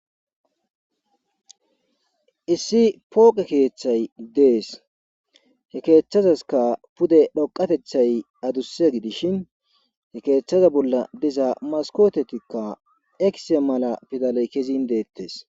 issi pooqe keeththay dees he keeththazaska pude dhoqatethay adusse gidishin he keeththaza bolla diza maskotetikka ekise mala pidaley kezin deettes